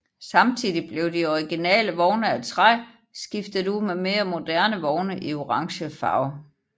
Samtidig blev de originale vogne af træ skiftet ud med mere moderne vogne i orangefarve